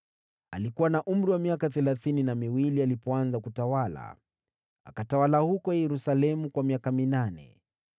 Alikuwa na umri wa miaka thelathini na miwili alipoanza kutawala, naye akatawala huko Yerusalemu kwa miaka minane.